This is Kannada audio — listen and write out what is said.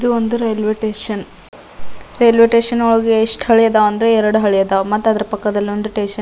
ಇದು ಒಂದು ರೈಲ್ವೆ ಸ್ಟೇಷನ್ ರೈಲ್ವೆ ಸ್ಟೇಷನ್ ಒಳಗೆ ಎಸ್ಟ್ ಹಳಿ ಅದಾವ್ ಅಂದ್ರೆ ಎರಡು ಹಳಿ ಅದಾವ್ ಮತ್ತ ಅದ್ರ ಪಕ್ಕದಲ್ಲಿ ಸ್ಟೇಷನ್ --